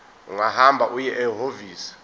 ungahamba uye ehhovisi